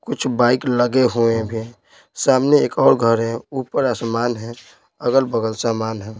कुछ बाइक लगे हुए हैं भी सामने एक और घर है ऊपर आसमान है अगल-बगल सामान है।